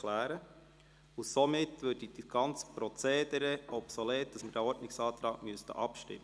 Damit würde das ganze Prozedere des Abstimmens über diesen Ordnungsantrag obsolet.